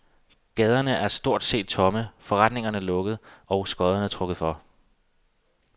Gaderne er stort set tomme, forretningerne lukket og skodderne trukket for.